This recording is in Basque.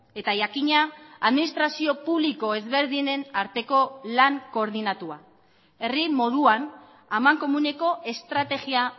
eta jakina administrazio publiko ezberdinen arteko lan koordinatua herri moduan amankomuneko estrategia